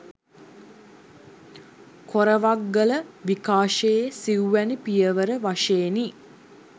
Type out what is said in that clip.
කොරවක්ගල විකාශයේ සිව්වැනි පියවර වශයෙනි.